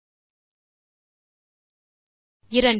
2